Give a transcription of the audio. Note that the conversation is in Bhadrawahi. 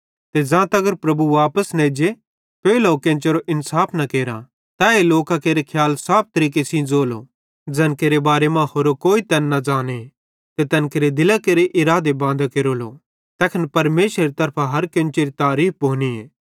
ते ज़ां तगर प्रभु वापस न एज्जे पेइली केन्चेरो इन्साफ न केरा तैए लोकां केरे सारे खियाल साफ तरीके ज़ोलो ज़ैन केरे बारे मां होरो कोई तैन न ज़ाने ते तैन केरे दिलां केरे इरादे बांदे केरेलो तैखन परमेशरेरी तरफां हर केन्चेरी तारीफ़ भोनीए